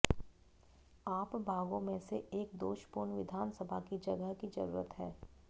आप भागों में से एक दोषपूर्ण विधानसभा की जगह की जरूरत है